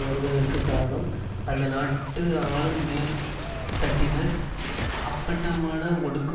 வருவதற்குக் காரணம் அந்தநாட்டு ஆளும் மேல்தட்டினர் அப்பட்டமான ஒடுக்கு